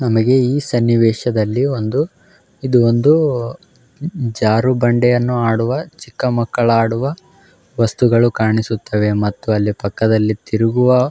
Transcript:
ನಮಗೆ ಈ ಸನ್ನಿವೇಶದಲ್ಲಿ ಒಂದು ಇದು ಒಂದೂ ಜ್-ಜಾರುಬಂಡೆಯನ್ನು ಆಡುವ ಚಿಕ್ಕ ಮಕ್ಕಳಾಡುವ ವಸ್ತುಗಳು ಕಾಣಿಸುತ್ತವೆ ಮತ್ತು ಅಲ್ಲಿ ಪಕ್ಕದಲ್ಲಿ ತಿರುಗುವ--